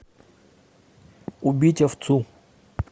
убить овцу